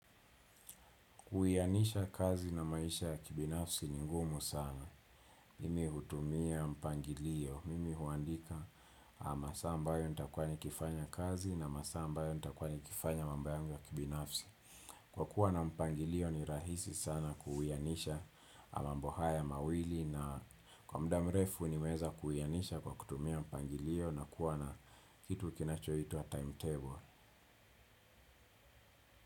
Kuwianisha kazi na maisha ya kibinafsi ni ngumu sana. Mimi hutumia mpangilio. Mimi huandika masaa ambayo nitakuwa nikifanya kazi na masaa ambayo nitakuwa nikifanya mambo yangu ya kibinafsi. Kwa kuwa na mpangilio ni rahisi sana kuwianisha mambo haya mawili na kwa muda mrefu ni weza kuwianisha kwa kutumia mpangilio na kuwa na kitu kinachoitwa timetable.